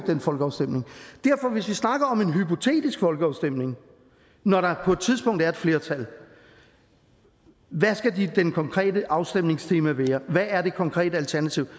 den folkeafstemning derfor hvis vi snakker om en hypotetisk folkeafstemning når der på et tidspunkt er et flertal hvad skal det konkrete afstemningstema være hvad er det konkrete alternativ